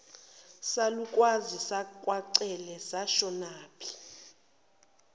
salukazi sakwacele sashonaphi